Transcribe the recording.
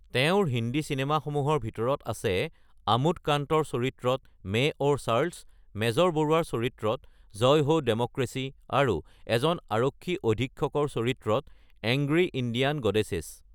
তেওঁৰ হিন্দী চিনেমাসমূহৰ ভিতৰত আছে আমোদ কান্তৰ চৰিত্ৰত মেইন ঔৰ চাৰ্লছ, মেজৰ বৰুৱাৰ চৰিত্ৰত জয় হো ডেম'ক্ৰেচি, আৰু এজন আৰক্ষী অধীক্ষৰ চৰিত্ৰত এংগ্ৰি ইণ্ডিয়ান গডেছ।